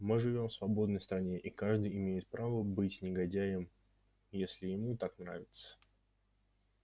мы живём в свободной стране и каждый имеет право быть негодяем если ему так нравится